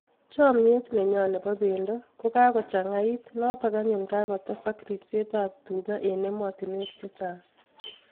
Chamyet nenyo nebo bendo ko kagochangait notok anyun kagotesak ripset ap tuga eng ematinwek cechang